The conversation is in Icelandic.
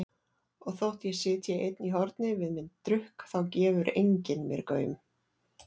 Og þótt ég sitji einn í horni við minn drukk þá gefur enginn mér gaum.